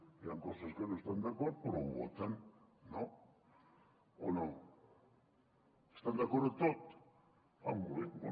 hi han coses amb què no estan d’acord però ho voten no o no estan d’acord amb tot ah molt bé